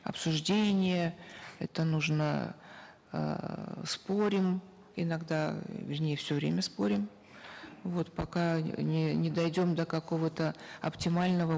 обсуждения это нужно эээ спорим иногда вернее все время спорим вот пока не дойдем до какого то оптимального